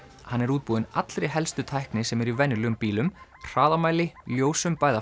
hann er útbúinn allri helstu tækni sem er í venjulegum bílum hraðamæli ljósum bæði að